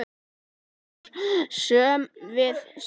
Birtan er söm við sig.